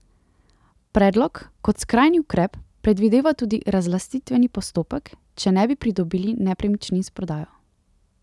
Predlog kot skrajni ukrep predvideva tudi razlastitveni postopek, če ne bi pridobili nepremičnin s prodajo.